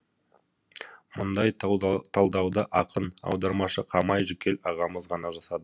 мұндай талдауды ақын аудармашы қамай жүкел ағамыз ғана жасады